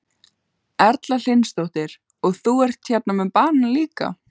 Erla Hlynsdóttir: Og þú ert með hérna banana líka?